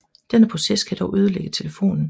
Denne proces kan dog ødelægge telefonen